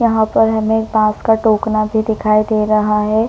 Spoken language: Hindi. यहाँ पर हमें बांस का टोकना भी दिखाई दे रहा हैं।